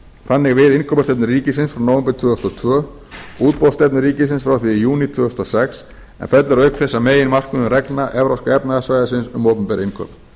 þannig við innkaupastefnu ríkisins frá nóvember tvö þúsund og tvö útboðsstefnu ríkisins frá því í júní tvö þúsund og sex en fellur auk þess að meginmarkmiðum reglna evrópska efnahagssvæðisins um opinber innkaup frumvarpið